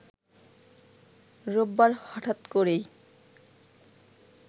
রোববার হঠাৎ করেই